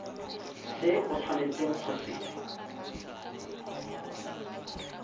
se o tshwanetseng go se